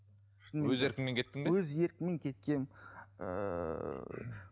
өз еркіңмен кеттің бе өз еркіммен кеткенмін ііі